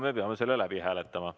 Me peame selle läbi hääletama.